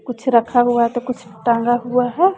कुछ रखा हुआ तो कुछ टांगा हुआ है।